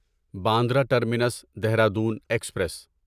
Bandra terminus Dehradun express